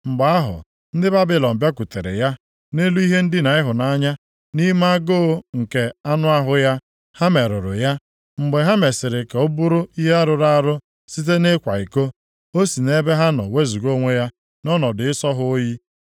Mgbe ahụ ndị Babilọn bịakwutere ya, nʼelu ihe ndina ịhụnanya, nʼime agụụ nke anụ ahụ ha, ha merụrụ ya. Mgbe ha mesịrị ka ọ bụrụ ihe rụrụ arụ site nʼịkwa iko, o si nʼebe ha nọ wezuga onwe ya nʼọnọdụ ịsọ ha oyi.